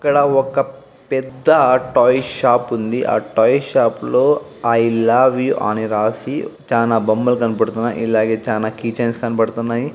ఇక్కడ ఒక పెద్ద టాయ్ షాప్ ఉంది. ఆ టాయ్ షాప్ లో ఐ లవ్ యు అని రాసి చానా బొమ్మలు కనపడుతున్నాయ్. ఇలాగే చానా కీచైన్స్ కనపడుతున్నాయి.